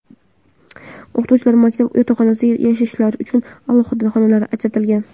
O‘qituvchilarga maktab yotoqxonasida yashashlari uchun alohida xonalar ajratilgan.